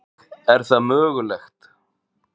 Hvernig er það mögulegt?